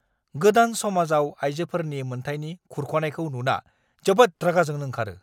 गोदान समाजआव आइजोफोरनि मोनथायनि खुरख'नायखौ नुना जोबोद रागा जोंनो ओंखारो।